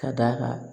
Ka d'a kan